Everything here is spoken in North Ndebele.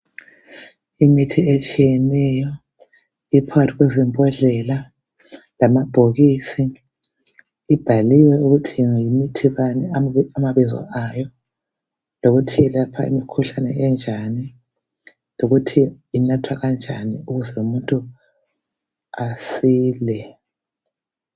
Imithi etshiyeneyo ephakathi kwezimbodlela lamabhokisi. Ibhaliwe ukuthi yimithi bani amabizo ayo lokuthi ilapha imikhuhlane enjani lokuthi inathwa kanjani ukuze umuntu asile.